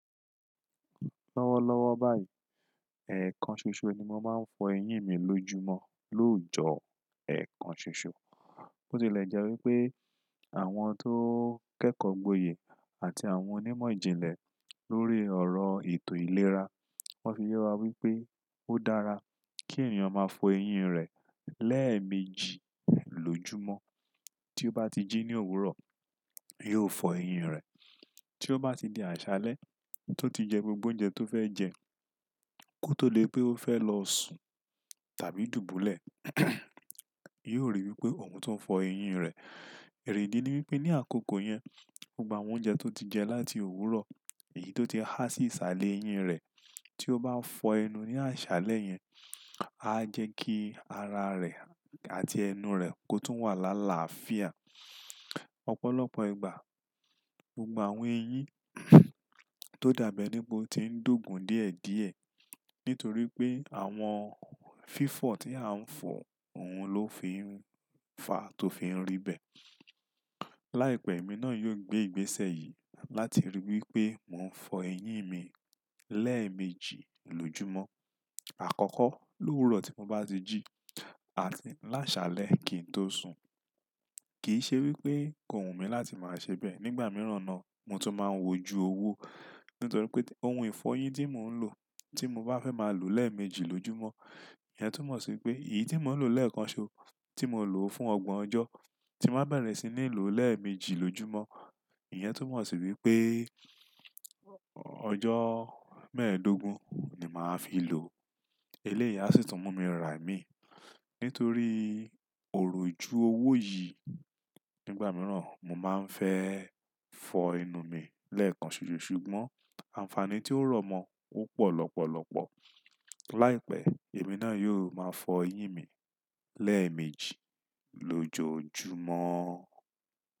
Lọ́wọ́lọ́wọ́ báyìí, ẹ̀ẹ̀kan ṣoṣo ni mo máa ń fọ eyín mi lójúmọ́, lóòjọ́ ẹẹ̀kan ṣoṣo. Bó tilẹ̀ jẹ́ wípé àwọn tó kẹ́kọ̀ọ́ gboyè àti àwọn onímọ̀ ìjìnlẹ̀ lórí ọ̀rọ̀ ètò ìlera, wọ́n fi yẹ wa wípé ó dára kí ènìyàn máa fọ eyín rẹ̀ lẹ́ẹ̀mejì lójúmọ́. Tí ó bá ti jí ní òwúrọ̀, yóò fọ eyín rẹ̀. Tí ó bá ti di àṣálẹ́, tó ti jẹ gbogbo oúnjẹ tó fẹ́ jẹ, kó tó lè pé ó fẹ́ lọ sùn tàbí dùbúlẹ̀, yóò ríi wípé òun tún ń fọ eyín rẹ̀. Ìdí ni wípé ní àkókò yẹn, gbogbo àwọn oúnjẹ tó ti jẹ láti òwúrọ̀, èyí tó ti há sí ìsàlẹ̀ eyín rẹ̀. Tí ó bá fọ ẹnu ní àṣálẹ́ yẹn, á jẹ́ kí ara rẹ̀ àti ẹnu rẹ̀ kó tún wà lála àfíà. Ọ̀pọ̀lọpọ̀ ìgbà, gbogbo àwọn eyín tó dàbẹ níbo ti ń d’óògun díẹ̀díẹ̀ nítorí pé àwọn fífọ̀ tí à ń fọ òun ló fi ń fa tó fi ń rí bẹ́ẹ̀. Láìpẹ́, èmi náà yóò gbé ìgbésẹ̀ yìí láti ríi wípé mò ń fọ eyín mi lẹ́ẹ̀mejì lójoojúmọ́. Àkọ́kọ́ lóòwúrọ̀ tí mo bá ti jí àti ní àṣálẹ́ kí n tó sùn. Kì í ṣe wípé kò wù mí láti máa ṣe bẹ́ẹ̀. Nígbà mìíràn náà, mo tún máa ń wò ju owó. Nítorí pé ohun ìfọ eyín tí mò ń lò tí mo bá fẹ́ máa lò ó lẹ́ẹ̀mejì lójoojúmọ́, ìyẹn tún mọ̀ sí pé èyí tí mò ń lò lẹ́ẹ̀kan ṣoṣo tí mo lò ó fún ọgbọ̀n ọjọ́ tí máa bẹ̀rẹ̀ sí ní lò ó lẹ́ẹ̀mejì lójoojúmọ́, ìyẹn tún mọ̀ sí wípé ọjọ́ mẹ́ẹ̀ẹ́dógún ni màá fi lò ó. Iléyì sì tún mú mi rà mí nítorí òrò ju owó yìí. Nígbà mìíràn, mo máa ń fẹ́ fọ ẹnu mi lẹ́ẹ̀kan ṣoṣo ṣùgbọ́n àǹfààní tí ó rọ̀mọ́ ó pọ̀ lọ́pọ̀lọpọ̀. Láìpẹ́, èmi náà yóò máa fọ eyín mi lẹ́ẹ̀mejì lójoojúmọ́.